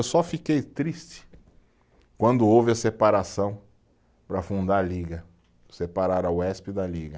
Eu só fiquei triste quando houve a separação para fundar a Liga, separar a Uesp da Liga.